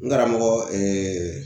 N karamɔgɔ